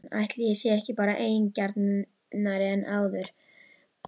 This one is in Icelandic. Ætli ég sé ekki bara eigingjarnari en áður?!